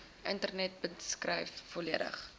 internet beskryf volledig